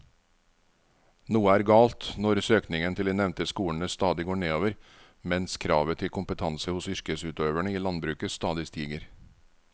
Noe er galt når søkningen til de nevnte skolene stadig går nedover mens kravet til kompetanse hos yrkesutøverne i landbruket stadig stiger.